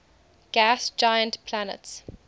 gas giant planets